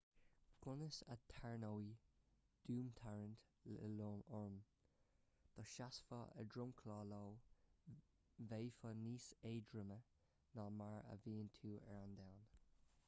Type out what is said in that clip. conas a tharraingeodh domhantarraingt io orm dá seasfá ar dhromchla io bheifeá níos éadroime ná mar a bhíonn tú ar an domhan